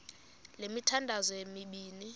le mithandazo mibini